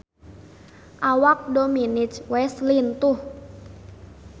Awak Dominic West lintuh